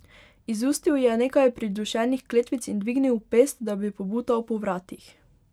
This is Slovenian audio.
Izustil je nekaj pridušenih kletvic in dvignil pest, da bi pobutal po vratih.